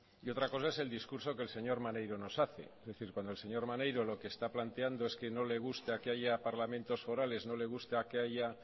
y otra cosa es el discurso que el señor maneiro nos hace es decir cuando el señor maneiro lo que está planteando es que no le gusta que haya parlamentos forales no le gusta que haya